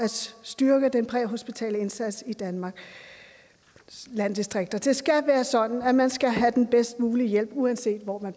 styrke den præhospitale indsats i danmarks landdistrikter det skal være sådan at man skal have den bedst mulige hjælp uanset hvor